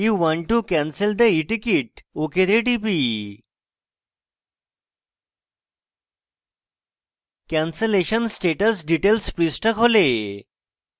এটি বলে যে are you sure you want to cancel the eticket আমি ok তে টিপি